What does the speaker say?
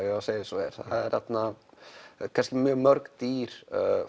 að segja eins og er það eru kannski mjög mörg dýr